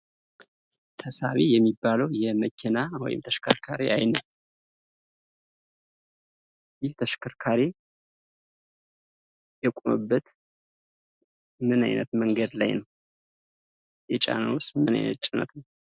ተሳቢ የሚባለው የመኪና የተሽከርካሪ አይነት ይህ ተሽከርካሪ የቆመበት ምን አይነት መንገድ ላይ ነው? የጫነውስ ምን አይነት ጭነት ነው?